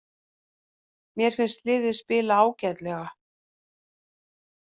Mér finnst liðið spila ágætlega.